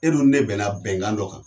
E dun ne bɛnna bɛnkan dɔ kan.